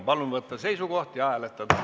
Palun võtta seisukoht ja hääletada!